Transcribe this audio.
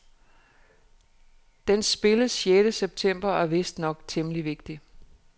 Den spilles sjette september, og er vistnok temmelig vigtig.